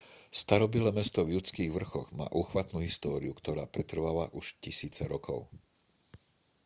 starobylé mesto v judských vrchoch má úchvatnú históriu ktorá pretrváva už tisíce rokov